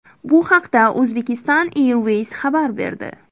Bu haqda Uzbekistan Airways xabar berdi .